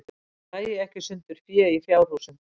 Dragi ekki sundur fé í fjárhúsum